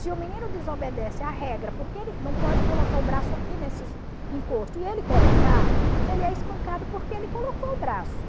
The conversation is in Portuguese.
Se o menino desobedece a regra porque ele não pode colocar o braço aqui nesses encosto e ele colocar, ele é espancado porque ele colocou o braço.